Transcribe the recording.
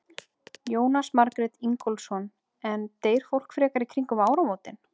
Jónas Margeir Ingólfsson: En deyr fólk frekar í kringum áramótin?